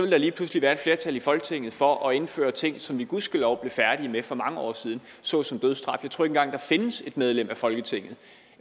der lige pludselig være et flertal i folketinget for at indføre ting som vi gudskelov blev færdige med for mange år siden såsom dødsstraf jeg tror ikke engang at der findes et medlem af folketinget